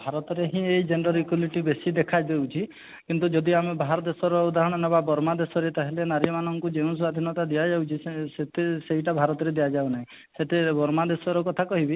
ଭାରତରେ ହିଁ ଏଇ gender equity ବେଶୀ ଦେଖା ଯାଉଛି କିନ୍ତୁ ଯଦି ଆମେ ବାହାର ଦି ଶର ଉଦାହରଣ ନେବା ବର୍ମା ଦେଶର ତାହେଲେ ନାରୀ ମାନଙ୍କୁ ଯେଉଁ ସ୍ୱାଧୀନତା ଦିଆଯାଉଛି ସେ ସେତେ ସେଇଟା ଭାରତରେ ଦିଆଯାଉ ନାହିଁ ସେତେ ବର୍ମା ଦେଶର କଥା କହିବି